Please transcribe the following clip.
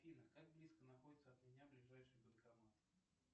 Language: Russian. афина как близко находится от меня ближайший банкомат